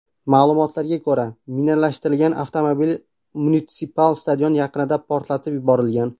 Ma’lumotlarga ko‘ra, minalashtirilgan avtomobil munitsipal stadion yaqinida portlatib yuborilgan.